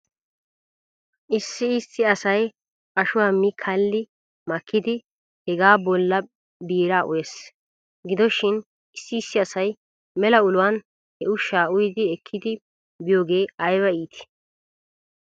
Issi issi asay ashuwaa mi kalli makkidi hegaa bolla biiraa uyes. Gido shin issi issi asay mela uluwan he ushshaa uyidi ekkidi biyoogee ayba iitii